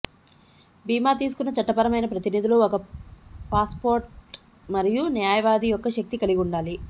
భీమా తీసుకున్న చట్టపరమైన ప్రతినిధులు ఒక పాస్పోర్ట్ మరియు న్యాయవాది యొక్క శక్తి కలిగి ఉండాలి